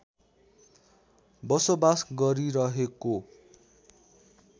बसोबास गरिरहेको